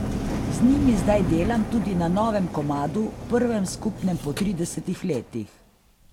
Z njimi zdaj delam tudi na novem komadu, prvem skupnem po tridesetih letih.